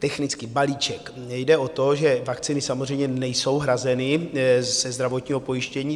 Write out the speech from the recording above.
Technicky - balíček, jde o to, že vakcíny samozřejmě nejsou hrazeny ze zdravotního pojištění.